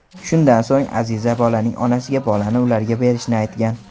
Shundan so‘ng Aziza bolaning onasiga bolani ularga berishni aytgan.